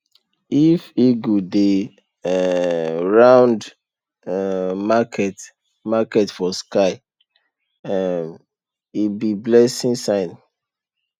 if eagle dey um round um market market for sky um e be blessing sign